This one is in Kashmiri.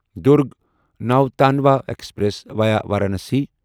Durg Nautanwa express via Varanasi